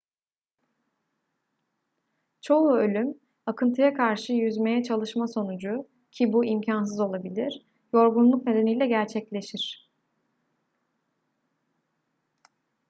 çoğu ölüm akıntıya karşı yüzmeye çalışma sonucu ki bu imkansız olabilir yorgunluk nedeniyle gerçekleşir